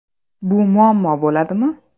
Bu muammo bo‘ladimi?